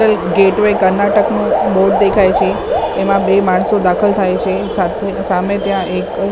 gateway કર્ણાટકનું board દેખાય છે એમાં બે માણસો દાખલ થાય છે સાથે સામે ત્યાં એક --